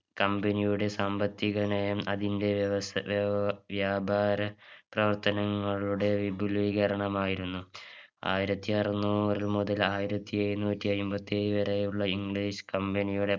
company യുടെ സാമ്പത്തിക നയം അതിന്റെ വ്യവസ വ്യവ വ്യാപാര പ്രവർത്തനങ്ങളുടെ വിപുലീകരണമായിരുന്നു ആയിരത്തി അറുനൂറു മുതൽ ആയിരത്തി എഴുന്നൂറ്റി അയിമ്പത്തിയേഴ് വരെയുള്ള English company യുടെ